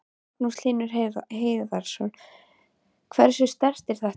Magnús Hlynur Hreiðarsson: Hversu sterkt er þetta?